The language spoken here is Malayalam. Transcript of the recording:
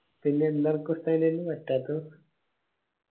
പിന്നെ എല്ലാർക്കു പറ്റാത്തത്